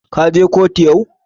Ka je kotu yau?